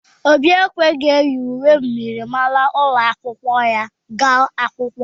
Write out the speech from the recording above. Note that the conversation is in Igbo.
Obi ekweghi enyi uwe myịrịmara ụlọ akwụkwọ ya aga akwụkwọ